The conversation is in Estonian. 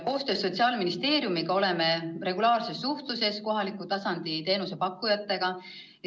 Koostöös Sotsiaalministeeriumiga oleme regulaarses suhtluses kohaliku tasandi teenusepakkujatega.